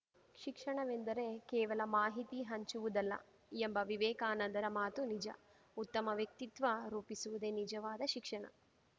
ಶಿಕ್ಷಣವೆಂದರೆ ಕೇವಲ ಮಾಹಿತಿ ಹಂಚುವುದಲ್ಲ ಎಂಬ ವಿವೇಕಾನಂದರ ಮಾತು ನಿಜ ಉತ್ತಮ ವ್ಯಕ್ತಿತ್ವ ರೂಪಿಸುವುದೇ ನಿಜವಾದ ಶಿಕ್ಷಣ